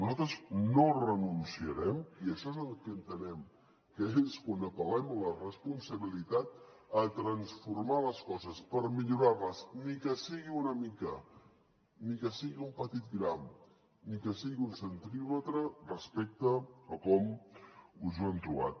nosaltres no hi renunciarem i això és el que entenem que és quan apel·lem a la responsabilitat a transformar les coses per millorar les ni que sigui una mica ni que sigui un petit gram ni que sigui un centímetre respecte a com ens ho hem trobat